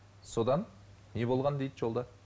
содан не болған дейді жолда